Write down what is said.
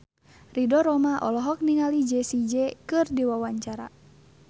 Ridho Roma olohok ningali Jessie J keur diwawancara